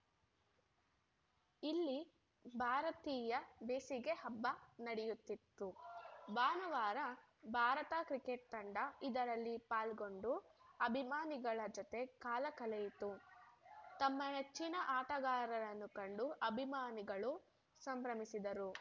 ಇಲ್ಲಿ ಭಾರತೀಯ ಬೇಸಿಗೆ ಹಬ್ಬ ನಡೆಯುತ್ತಿದ್ದು ಭಾನುವಾರ ಭಾರತ ಕ್ರಿಕೆಟ್‌ ತಂಡ ಇದರಲ್ಲಿ ಪಾಲ್ಗೊಂಡು ಅಭಿಮಾನಿಗಳ ಜತೆ ಕಾಲ ಕಳೆಯಿತು ತಮ್ಮ ನೆಚ್ಚಿನ ಆಟಗಾರರನ್ನು ಕಂಡು ಅಭಿಮಾನಿಗಳು ಸಂಭ್ರಮಿಸಿದರು